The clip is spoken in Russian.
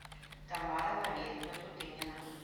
тамара валерьевна тутынина